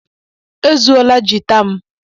E zuola giita m